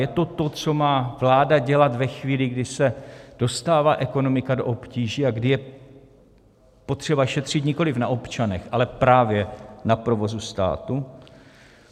Je to to, co má vláda dělat ve chvíli, kdy se dostává ekonomika do obtíží a kdy je potřeba šetřit nikoliv na občanech, ale právě na provozu státu?